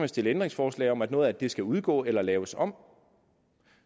stille ændringsforslag om at noget af det skal udgå eller laves om